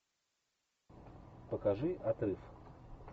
покажи отрыв